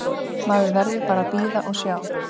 Maður verður bara að bíða og sjá.